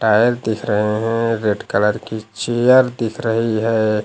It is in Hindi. पैर दिख रहे हैं रेड कलर की चेयर दिख रही है।